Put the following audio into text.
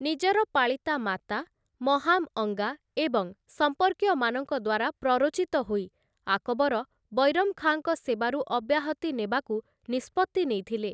ନିଜର ପାଳିତା ମାତା, ମହାମ୍‌ ଅଙ୍ଗା ଏବଂ ସମ୍ପର୍କୀୟମାନଙ୍କ ଦ୍ୱାରା ପ୍ରରୋଚିତ ହୋଇ, ଆକବର ବୈରମ୍ ଖାଁଙ୍କ ସେବାରୁ ଅବ୍ୟାହତି ନେବାକୁ ନିଷ୍ପତ୍ତି ନେଇଥିଲେ ।